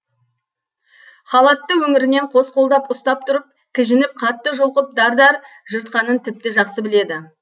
халатты өңірінен қос қолдап ұстап тұрып кіжініп қатты жұлқып дар дар жыртқанын тіпті жақсы біледі